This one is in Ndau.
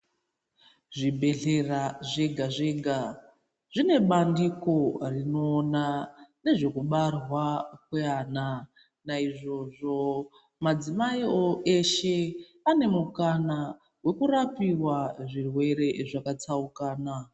Zvibhedhlera zvega zvega zvine bandiko rinoona nezvekubarwa kweana naizvozvo madzimai eshe ane mukana wekurapirwa zvirwere zvakatsaukana.